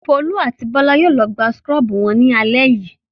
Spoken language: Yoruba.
Folú a ti Bọ́lá yóò lọ gba súkúrọ́bù wọn lálẹ́ yìí.